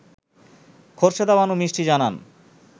খোরশেদা বানু মিষ্টি জানান